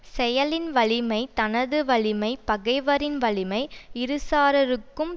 செயலின் வலிமை தனது வலிமை பகைவரின் வலிமை இருசாரருக்கும்